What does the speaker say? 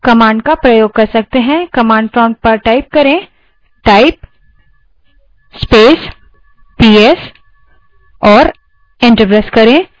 command prompt पर type करें type space ps और enter press करें